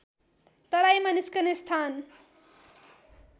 तराईमा निस्कने स्थान